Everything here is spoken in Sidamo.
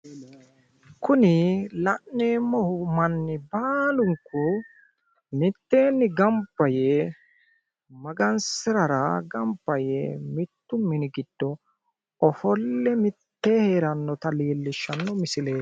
Kuni la'neemmohu manni baalunku mitteenni gamba yee magansirara gamba yee mittu mini giddo ofolle mittee heerannota leellishaa misileeti.